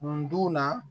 N duw na